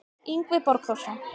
Yngvi Borgþórsson